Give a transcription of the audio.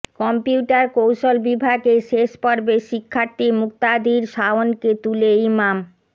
computer কৌশল বিভাগের শেষ বর্ষের শিক্ষার্থী মুক্তাদির শাওনকে তুলে ইমাম